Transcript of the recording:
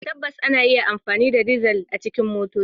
Tabbas, ana iya amfani da dizal a cikin motoci.